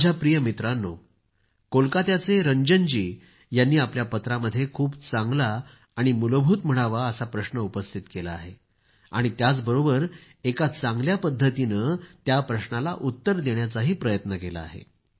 माझ्या प्रिय मित्रांनो कोलकाताचे रंजन जी यांनी आपल्या पत्रामध्ये खूप चांगला आणि मूलभूत म्हणावा असा प्रश्न उपस्थित केला आहे आणि त्याचबरोबर एका चांगल्या पद्धतीनं त्या प्रश्नाला उत्तर देण्याचाही प्रयत्न केला आहे